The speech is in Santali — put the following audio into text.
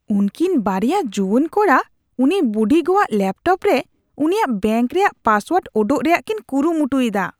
ᱩᱝᱠᱤᱱ ᱵᱟᱨᱮᱭᱟ ᱡᱩᱣᱟᱹᱱ ᱠᱚᱲᱟ ᱩᱱᱤ ᱵᱩᱰᱤᱜᱚᱣᱟᱜ ᱞᱮᱯᱴᱚᱯ ᱨᱮ ᱩᱱᱤᱭᱟᱜ ᱵᱮᱝᱠ ᱨᱮᱭᱟᱜ ᱯᱟᱥᱳᱣᱟᱨᱰ ᱚᱰᱚᱠ ᱨᱮᱭᱟᱜ ᱠᱤᱱ ᱠᱩᱨᱩᱢᱩᱴᱩᱭᱮᱫᱟ ᱾